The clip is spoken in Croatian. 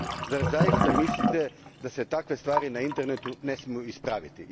Zar zaista mislite da se takve stvari na internetu ne smiju ispraviti?